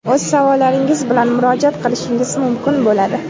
o‘z savollaringiz bilan murojaat qilishingiz mumkin bo‘ladi).